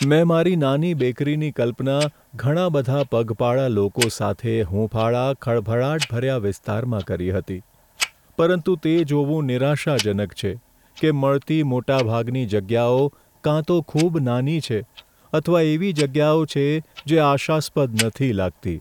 મેં મારી નાની બેકરીની કલ્પના ઘણા બધા પગપાળા લોકો સાથે હુંફાળા, ખળભળાટભર્યા વિસ્તારમાં કરી હતી, પરંતુ તે જોવું નિરાશાજનક છે કે મળતી મોટાભાગની જગ્યાઓ કાં તો ખૂબ નાની છે અથવા એવી જગ્યાઓ છે જે આશાસ્પદ નથી લાગતી.